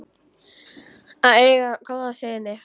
Að eiga góða syni.